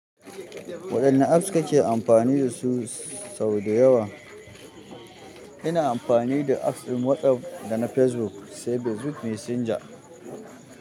Waɗanne apps ka ke amfani da su sau dayawa? Ina amfani da apps ɗin WhatsApp da na Facebook, sai Facebook Messenger.